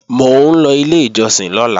Mò ń lọ ilé ìjọsìn lọ́la